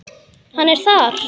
Hann er þar.